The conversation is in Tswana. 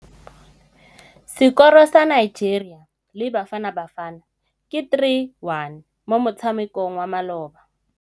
Sekôrô sa Nigeria le Bafanabafana ke 3-1 mo motshamekong wa malôba.